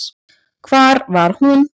Hvar var hún?